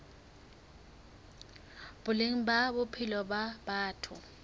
boleng ba bophelo ba batho